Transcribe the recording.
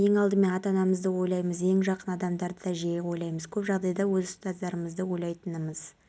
тек республиканың қиыр батысында жауын-шашынсыз ауа райы күтіледі түнде және таңертең республиканың солтүстігінің кей жерлерінде тұман